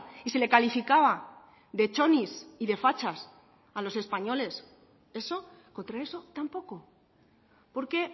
y se le calificaba de chonis y de fachas a los españoles eso contra eso tampoco porque